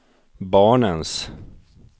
barnens